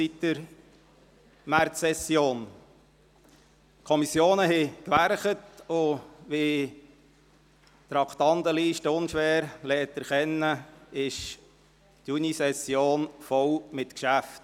Die Kommissionen waren am Werk, und wie die Traktandenliste unschwer erkennen lässt, ist die Junisession voll mit Geschäften.